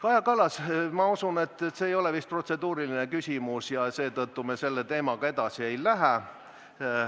Kaja Kallas, ma usun, et see ei ole vist protseduuriline küsimus, ja seetõttu me selle teemaga edasi ei lähe.